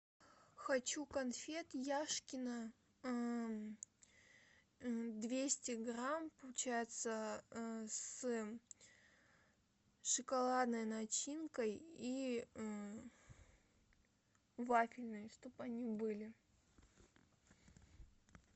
хочу конфет яшкино двести грамм получается с шоколадной начинкой и вафельной чтоб они были